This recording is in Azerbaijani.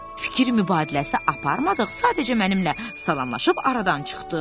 Fikir mübadiləsi aparmadıq, sadəcə mənimlə salamlaşıb aradan çıxdın.